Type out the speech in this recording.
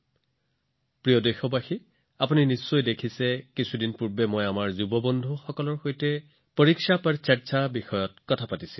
মোৰ মৰমৰ দেশবাসী আপুনি নিশ্চয় দেখিছে যে কেইদিনমান আগতে মই মোৰ যুৱ বন্ধুবৰ্গৰ সৈতে শিক্ষাৰ্থীসকলৰ সৈতে পৰীক্ষাৰ বিষয়ে আলোচনা কৰিছিলো